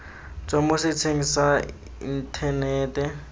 tswa mo setsheng sa inthanete